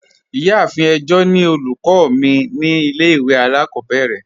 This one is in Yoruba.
Ìyàáfín ẹ̀jọ̀ ni ọlúkọ̀ mi ni ilẹ̀-ìwé alákòbèrè.